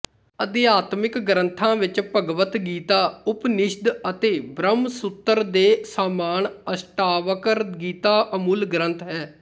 ਅਧਿਆਤਮਿਕ ਗ੍ਰੰਥਾਂ ਵਿੱਚ ਭਗਵਤਗੀਤਾ ਉਪਨਿਸ਼ਦ ਅਤੇ ਬਰਹਮਸੂਤਰ ਦੇ ਸਾਮਾਨ ਅਸ਼ਟਾਵਕਰ ਗੀਤਾ ਅਮੁੱਲ ਗਰੰਥ ਹੈ